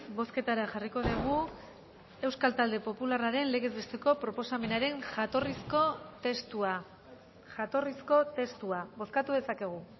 bozketara jarriko degu euskal talde popularraren legez besteko proposamenaren jatorrizko testua bozkatu dezakegu